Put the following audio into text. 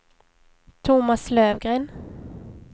Tomas Löfgren